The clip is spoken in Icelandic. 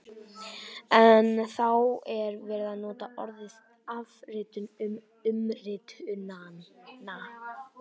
En þá er verið að nota orðið afritun um umritunina!